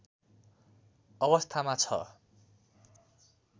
अवस्थामा छ।